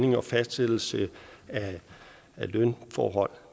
i og fastsættelse af lønforhold